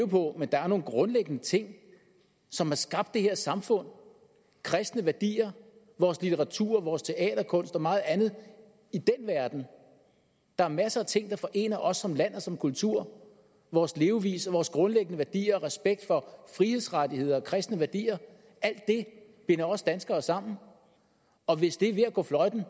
på men der er nogle grundlæggende ting som har skabt det her samfund kristne værdier vores litteratur vores teaterkunst og meget andet i den verden der er masser af ting der forener os som land og som kultur vores levevis og vores grundlæggende værdier og respekt for frihedsrettigheder og kristne værdier alt det binder os danskere sammen og hvis det er ved at gå fløjten